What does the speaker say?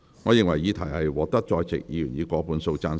我認為議題獲得在席議員以過半數贊成。